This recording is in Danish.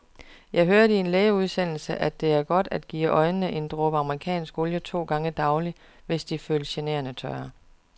Jeg hørte i en lægeudsendelse, at det er godt at give øjnene en dråbe amerikansk olie to gange daglig, hvis de føles generende tørre.